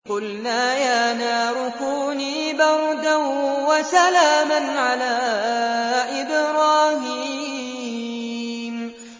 قُلْنَا يَا نَارُ كُونِي بَرْدًا وَسَلَامًا عَلَىٰ إِبْرَاهِيمَ